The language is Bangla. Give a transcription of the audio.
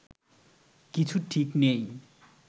কিচ্ছু ঠিক নেই